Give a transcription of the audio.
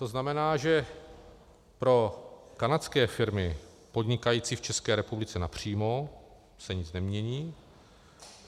To znamená, že pro kanadské firmy podnikající v České republice napřímo se nic nemění.